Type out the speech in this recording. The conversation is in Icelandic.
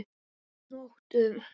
Og nóttum!